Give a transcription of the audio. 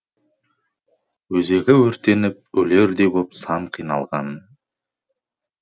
өзегі өртеніп өлердей боп сан қиналған